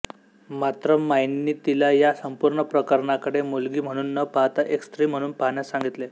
मात्र माईंनी तिला या संपूर्ण प्रकरणाकडे मुलगी म्हणून न पाहता एक स्त्री म्हणून पाहण्यास सांगितले